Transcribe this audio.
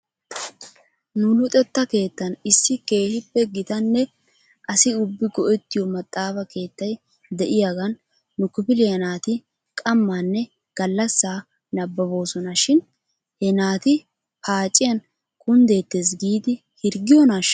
Nu luxetta keettan issi keehippe gitanne asi ubbi go'ettiyoo maxaafa keettay de'iyaagan nu kifiliyaa naati qammaanne gallassaa nabbaboosona shin he naati paacciyan kunddeetes giidi hirggiyoonaashsha?